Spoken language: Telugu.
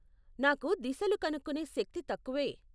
నాకు దిశలు కనుక్కునే శక్తి తక్కువే.